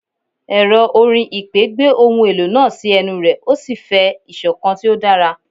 Ẹrọ orin ipè gbe ohun elo naa si ẹnu rẹ o si fẹ isokan ti o dara